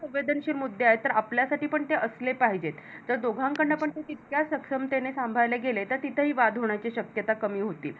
संवेदनशीलमुद्दे आहेत तर आपल्यासाठी पण ते असले पाहिजेत जर दोघांकडून तितक्या सक्षमतेने सांभाळले गेले तर तिथेही वाद होण्याची शक्यता कमी होते,